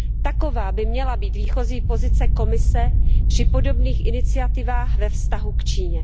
Taková by měla být výchozí pozice Komise při podobných iniciativách ve vztahu k Číně.